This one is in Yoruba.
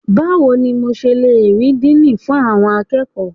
Báwo ni mo ṣe le rí Díínì fún àwọn akẹ́kọ̀ọ́?